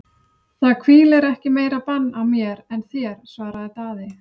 Það hvílir ekki meira bann á mér en þér, svaraði Daði.